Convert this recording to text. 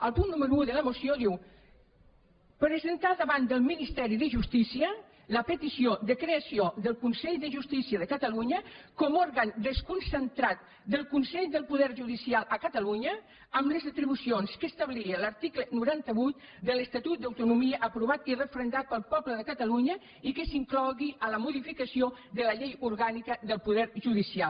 el punt número un de la moció diu presentar davant del ministeri de justícia la petició de creació del consell de justícia de catalunya com òrgan desconcentrat del consell del poder judicial a catalunya amb les atribucions que establia l’article noranta vuit de l’estatut d’autonomia aprovat i referendat pel poble de catalunya i que s’inclogui a la modificació de la llei orgànica del poder judicial